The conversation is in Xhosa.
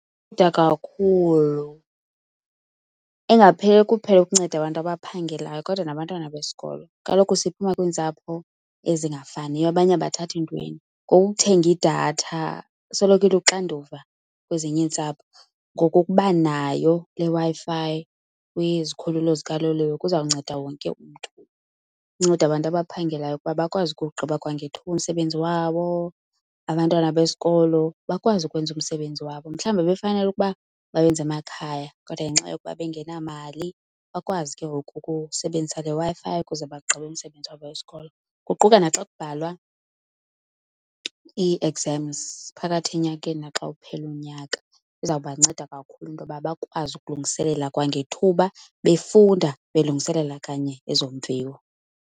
Kakhulu, ingapheleli kuphela ukunceda abantu abaphangelayo kodwa nabantwana besikolo. Kaloku siphuma kwiintsapho ezingafaniyo, abanye abathathi ntweni. Ngoku ukuthenga idatha isoloko iluxanduva kwezinye iintsapho. Ngoku ukuba nayo le Wi-Fi kwizikhululo zikaloliwe kuzawunceda wonke umntu. Inceda abantu abaphangelayo ukuba bakwazi ukuwugqiba kwangethuba umsebenzi wabo, abantwana besikolo bakwazi ukwenza umsebenzi wabo. Mhlawumbi ebebefanele ukuba bawenza emakhaya kodwa ngenxa yokuba bengenamali bakwazi ke ngoku ukusebenzisa le Wi-Fi ukuze bagqibe umsebenzi wabo wesikolo. Kuquka naxa kubhalwa ii-exams phakathi enyakeni naxa uphela unyaka, izawubanceda kakhulu into yoba bakwazi ukulungiselela kwangethuba, befunda belungiselela kanye ezo mviwo.